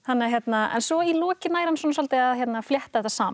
en svo í lokin nær hann svolítið að flétta þetta saman